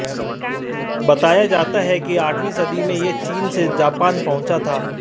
बताया जाता है कि आठवीं सदी में यह चीन से जापान पहुंचा था